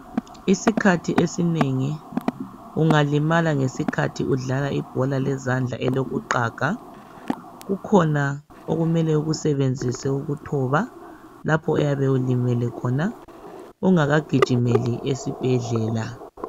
Isikhathi esinengi ungalimala ngesikhathi udlala ibhola lezandla elokuqaga kukhona okumele ukusebenzise ukuthoba lapho oyabe ulimele khona ungakagijimeli esibhedlela